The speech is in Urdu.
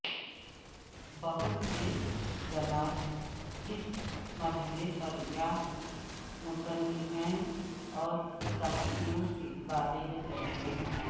بہت سے زلاس اس مرحلے پر یا مصنفین اور صحافیوں کے بارے میں سمجھتے ہیں